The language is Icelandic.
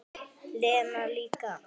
Lena líka.